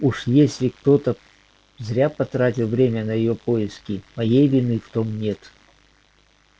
а уж если кто-то зря потратил время на её поиски моей вины в том нет